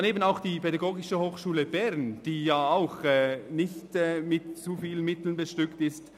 Daneben betrifft es auch die Pädagogische Hochschule Bern (PH Bern), die ebenfalls nicht mit allzu vielen Mitteln ausgestattet ist.